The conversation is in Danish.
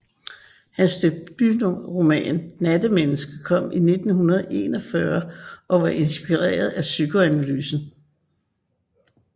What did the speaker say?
Hans debutroman Nattmennesket kom i 1941 og var inspireret af psykoanalysen